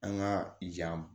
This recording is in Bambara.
An ka yan